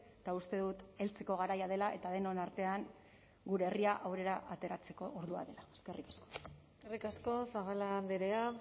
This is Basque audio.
eta uste dut heltzeko garaia dela eta denon artean gure herria aurrera ateratzeko ordua dela eskerrik asko eskerrik asko zabala andrea